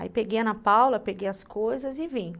Aí peguei a Ana Paula, peguei as coisas e vim.